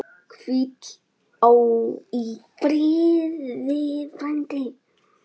Hvíl í friði, frændi.